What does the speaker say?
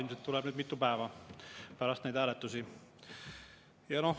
Ilmselt tuleb seda nüüd mitu päeva pärast neid hääletusi.